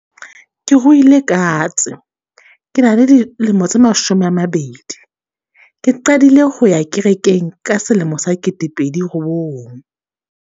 Ke ruile katse, ke na le dilemo tse mashome a mabedi, ke qadile ho ya kerekeng ka selemo sa kete pedi robong.